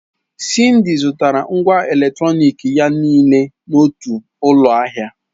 Cyndy zụtara ngwá eletronik ya niile n'otu ụlọ ahịa.